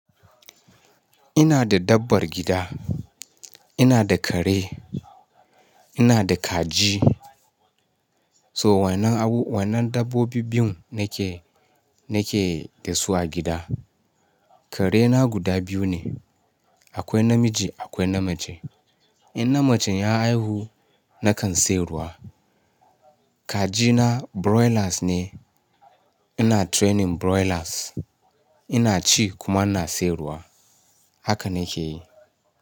Ina da dabbar gida, ina da kare, ina da kaji. So wannan abu, wannan dabbobi biyun nake, nake da su a gida. Karena guda biyu ne, akwai namiji akwai namace. In namacen ya haihu nakan siyarwa. Kajina broilers ne, ina training broilers, ina ci kuma ina siyarwa. Haka nake yi.